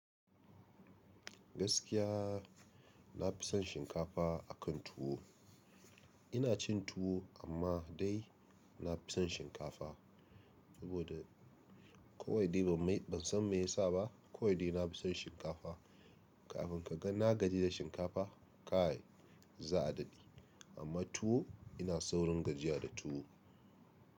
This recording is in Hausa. Gaskiya na fi son shinkafa akan tuwo. Ina cin tuwo amma dai na fi son shinkafa. Saboda kawai dai ban me ban san me ya sa ba, kawai dai na fi son shinkafa. Kafin ka ga na gaji da shinkafa, kai za a daɗe. Amma tuwo ina saurin gajiya da tuwo.